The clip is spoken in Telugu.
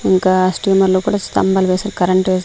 ఇంకా హాస్టల్ మేడ్లో కూడా స్థంబాల్ వేస్ కరెంట్ వై--